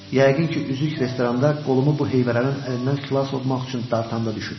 Yəqin ki, üzük restoranda qolumu bu heyvərənin əlindən xilas olmaq üçün dartanda düşüb.